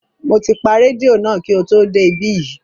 Mo ti pa rédíò náà kí o tó dé ibí yìí